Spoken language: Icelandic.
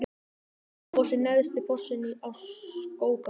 Skógafoss er neðsti fossinn í Skógaá.